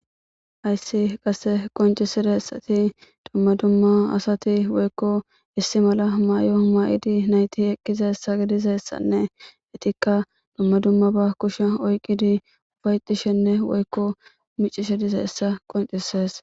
Hayssi qasse qoncisida essati domma dumma asati woykko issi mala maayo mayidi nayti eqqiza essa gidizassanne etikka domma dumma ba kushe oyqqidi ubayxishenne woykko micishe dize essa qoncisees